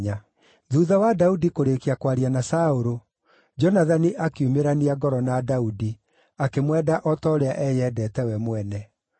Thuutha wa Daudi kũrĩĩkia kwaria na Saũlũ, Jonathani akiumĩrania ngoro na Daudi, akĩmwenda o ta ũrĩa eyendete we mwene.